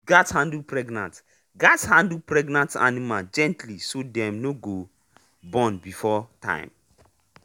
you gatz handle pregnant gatz handle pregnant animal gently so dem no go um born before um time.